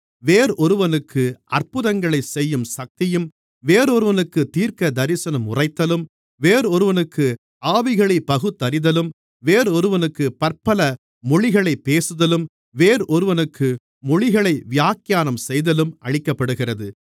வேறொருவனுக்கு அற்புதங்களைச் செய்யும் சக்தியும் வேறொருவனுக்குத் தீர்க்கதரிசனம் உரைத்தலும் வேறொருவனுக்கு ஆவிகளைப் பகுத்தறிதலும் வேறொருவனுக்குப் பற்பல மொழிகளைப் பேசுதலும் வேறொருவனுக்கு மொழிகளை வியாக்கியானம் செய்தலும் அளிக்கப்படுகிறது